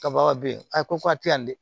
Kaba be yen a ko k'a te yan dɛ